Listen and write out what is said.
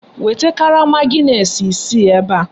Weta karama gịnesị isii ebe a!